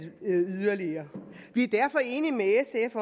yderligere vi er derfor enige med sf